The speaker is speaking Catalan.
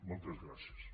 moltes gràcies